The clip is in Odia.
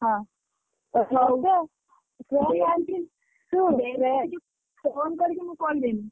ହଁ phone କରିକି ମୁଁ କହିଦେବି।